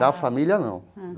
Da família, não.